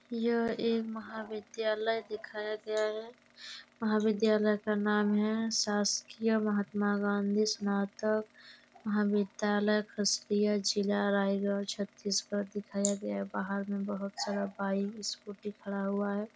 यह एक महाविद्यालय दिखाया गया हैं महाविद्यालय का नाम हैं शासकीय महात्मा गाँधी सनातक महाविद्यालय खसतीय जिला रायगढ़ छत्तीसगढ़ दिखाया गया हैं बाहर में बहुत सारा बाइक स्कूटी खड़ा हुआ हैं।